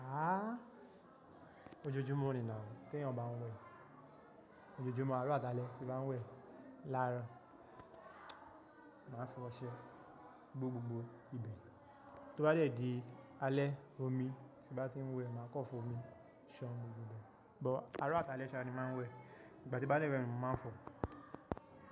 Ah! Ojoojumo ni na, tí ẹ̀eyan ba ń wẹ̀. Ojoojumo aro àtálẹ ti n ba ń wẹ̀ láàrọ̀. Máa fọṣẹ gbo gbogbo ibẹ̀, tó bá dé di alẹ́ omi tí n bá ti ń wẹ̀, máa kọ́ fún omi ṣan gbogbo bẹ. But aró àtálẹ̀ ṣáá ni máa ń wẹ̀, ìgbà tí n baá dẹ̀ wẹ́ ni mo máa ń fọ̀.